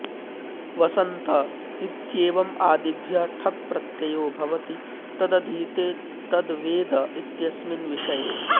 वसन्त इत्येवम् आदिभ्यः ठक् प्रत्ययो भवति तदधीते तद्वेद इत्यस्मिन् विषये